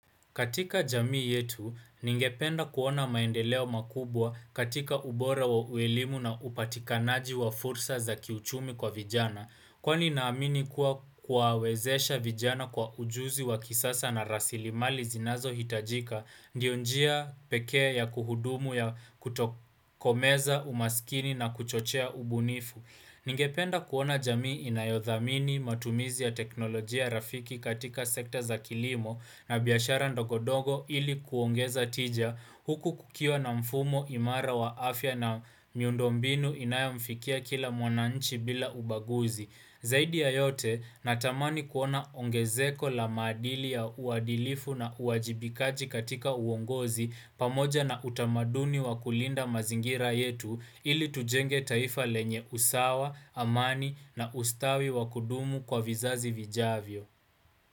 Katika jamii yetu, ningependa kuona maendeleo makubwa katika ubora wa uelimu na upatikanaji wa fursa za kiuchumi kwa vijana. Kwa ni naamini kuwa kuawezesha vijana kwa ujuzi wa kisasa na rasilimali zinazo hitajika, ndio njia pekea ya kuhudumu ya kutokomeza umaskini na kuchochea ubunifu. Ningependa kuona jamii inayodhamini matumizi ya teknolojia rafiki katika sekta za kilimo na biashara ndogondogo ili kuongeza tija huku kukiwa na mfumo imara wa afya na miundombinu inayomfikia kila mwananchi bila ubaguzi. Zaidi ya yote, natamani kuona ongezeko la maadili ya uadilifu na uwajibikaji katika uongozi pamoja na utamaduni wa kulinda mazingira yetu ili tujenge taifa lenye usawa, amani na ustawi wa kudumu kwa vizazi vijavyo.